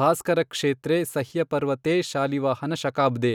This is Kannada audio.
ಭಾಸ್ಕರ ಕ್ಷೇತ್ರೇ ಸಹ್ಯಪರ್ವತೇ ಶಾಲಿವಾಹನ ಶಕಾಬ್ದೇ।